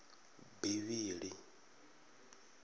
bivhili